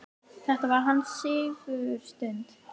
Þetta var hans sigurstund.